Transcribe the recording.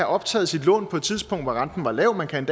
optaget sit lån på et tidspunkt hvor renten var lav man kan